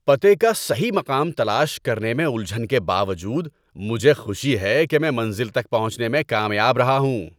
پتے کا صحیح مقام تلاش کرنے میں الجھن کے باوجود، مجھے خوشی ہے کہ میں منزل تک پہنچنے میں کامیاب رہا ہوں۔